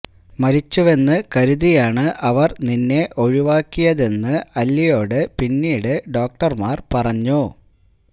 മരിച്ചുവെന്ന് കരുതിയാണ് അവര് നിന്നെ ഒഴിവാക്കിയതെന്ന് അല്വയോട് പിന്നീട് ഡോക്ടര്മാര് പറഞ്ഞു